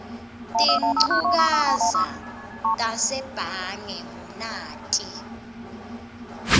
tinchukaca tasebhange ngunati